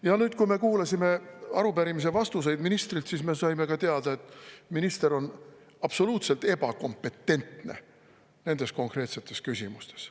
Ja nüüd, kui me kuulasime arupärimise vastuseid ministrilt, siis me saime ka teada, et minister on absoluutselt ebakompetentne nendes konkreetsetes küsimustes.